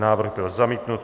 Návrh byl zamítnut.